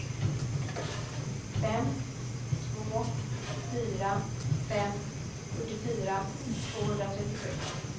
fem två fyra fem fyrtiofyra tvåhundratrettiosju